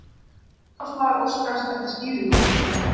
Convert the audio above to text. Umboðsmaður óskar eftir skýringum